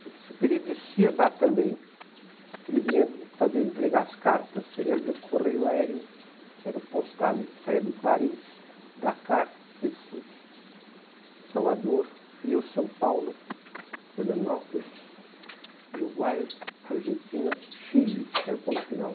Saint-Exupéry descia lá também, porque ele vinha fazia entregar as cartas, ele era do correio aéreo, saia de Paris, Dakar, Recife, Salvador, Rio, São Paulo, Florianópolis, Uruguai, Argentina, Chile, que era o ponto final.